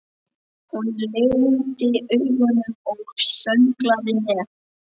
Hún lygndi augunum og sönglaði með.